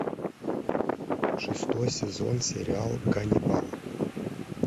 шестой сезон сериал ганнибал